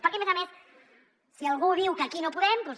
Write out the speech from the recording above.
perquè a més a més si algú diu que aquí no podem doncs